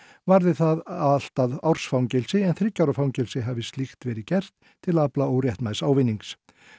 varði það allt að árs fangelsi en þriggja ára fangelsi hafi slíkt hafi verið gert til að afla óréttmæts ávinnings